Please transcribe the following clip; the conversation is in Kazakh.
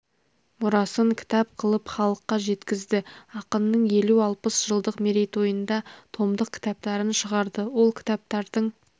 мұрасын кітап қылып халыққа жеткізді ақынның елу алпыс жылдық мерейтойында томдық кітаптарын шығарды ол кітаптардың